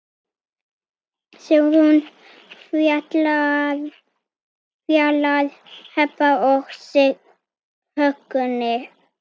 Sigrún, Fjalar, Heba og Högni.